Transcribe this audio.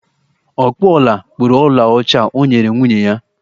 Ọkpụ ọla kpụrụ ọlaọcha o nyere nwunye ya